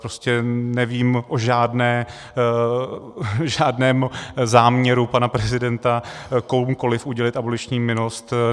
Prostě nevím o žádném záměru pana prezidenta komukoli udělit aboliční milost.